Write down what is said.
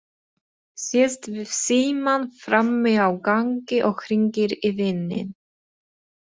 Sest við símann frammi á gangi og hringir í vininn.